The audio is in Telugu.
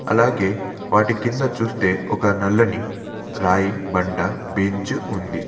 అలాగే వాటి కింద చూస్తే ఒక నల్లని రాయి బండ బెంచ్ ఉంది.